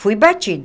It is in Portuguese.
Fui batida.